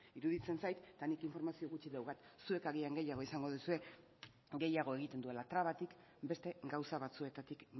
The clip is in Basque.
iruditzen zait eta nik informazio gutxi daukat zuek agian gehiago izango duzue gehiago egiten duela trabatik beste gauza batzuetatik